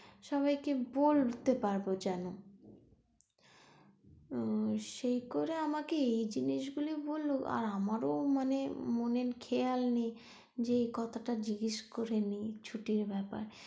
সবাইকে বলতে পারবো যেন আহ সেই করে আমাকে এই জিনিস গুলোই বললো আর আমারও মানে মনে, খেয়াল নেই যে এই কথাটা জিজ্ঞেস করে নেই ছুটির ব্যাপার টা।